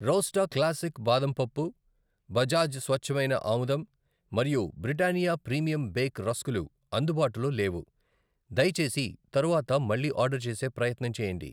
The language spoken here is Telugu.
రోస్టా క్లాసిక్ బాదం పప్పు, బజాజ్ స్వచ్ఛమైన ఆముదం మరియు బ్రిటానియా ప్రీమియం బేక్ రస్కు లు అందుబాటులో లేవు, దయచేసి తరువాత మళ్ళీ ఆర్డర్ చేసే ప్రయత్నం చేయండి.